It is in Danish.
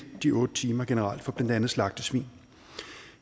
de otte timer generelt for blandt andet slagtesvin